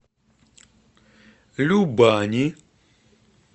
любани